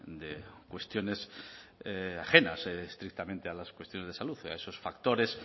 de cuestiones ajenas estrictamente a las cuestiones de salud a esos factores